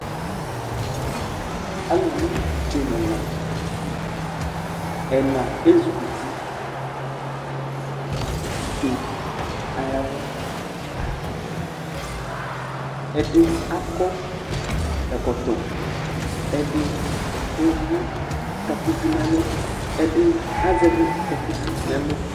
aluvi idzo n'ɛna, ɛna ezukuti, idzo ayavu, ɛdi akɔ ɛkɔtɔ, ɛdi ewu takuvi n'ɛlu, ɛdi azɛvi takuvi n'ɛlu